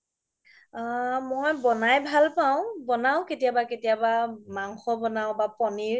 আ মই ব্নাই ভাল পাও বনাও কেতিয়াবা কেতিয়াবা মাংস বনাও বা পনিৰ